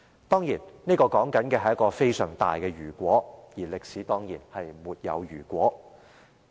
誠然，這是一個非常大的"如果"，歷史也必然沒有如果。